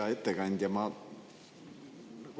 Hea ettekandja!